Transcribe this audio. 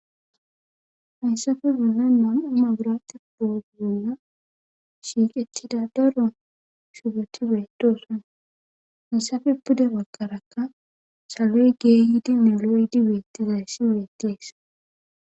Hayssappe bollan beetiza maabirte shuffo bolla shiiqetida daro shubotti beetosona. hessape pude bagara saloy geyidi beetidaysi beetees.